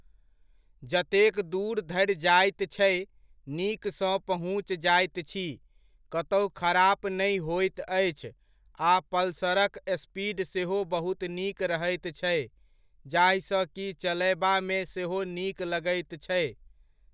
जतेक दूर धरि जाइत छै, नीकसँ पहुँच जाइत छी, कतहु खराप नहि होइत अछि आ पल्सरक स्पीड सेहो बहुत नीक रहैत छै, जाहिसँ कि चलयबामे सेहो नीक लगैत छै।